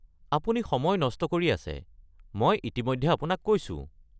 আপুনি সময় নষ্ট কৰি আছে, মই ইতিমধ্যে আপোনাক কৈছো।